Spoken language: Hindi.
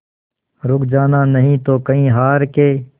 रुक जाना नहीं तू कहीं हार के